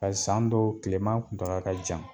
san dɔw tilema kuntaga ka jan.